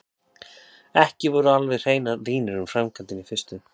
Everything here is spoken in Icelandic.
Ekki voru alveg hreinar línur um framkvæmdina í fyrstu.